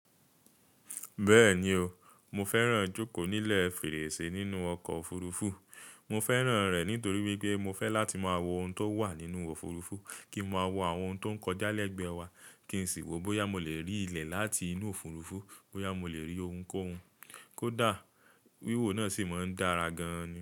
Bẹ́ẹ̀ni o, mo fẹ́ràn jókòó nílẹ̀ fèrèsé nínú ọkọ̀ òfurufú. Mo fẹ́ràn rẹ̀ nítorí wípé mo fẹ́ láti máa wo ohun tó wà nínú òfurufú, kí n máa wo àwọn ohun tó ń kọjá lẹ́gbẹ̀ẹ́ wa, kí n sì wò bóyá mo lè rí ilẹ̀ láti inú òfurufú, bóyá mo lè rí ohunkóhun. Kódà wíwò náà sì máa ń dára gan-an ni.